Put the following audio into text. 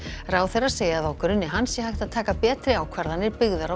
ráðherrar segja að á grunni hans sé hægt að taka betri ákvarðanir byggðar á